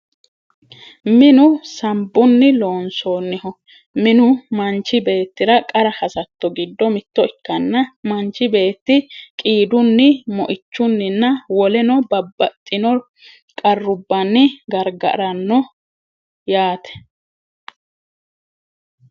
Minu sambunni loonsoonniho. Minu manchi beettira qara hasatto giddo mitto ikkanna manchi beetto qiidunni, moichunninna woleno babbaxitino qarrubbanni gargaranno yaate.